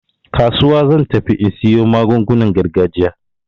Kasuwa zan tafi in siyo magungunan gargajiya.